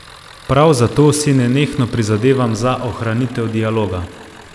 Prav zato si nenehno prizadevam za ohranitev dialoga.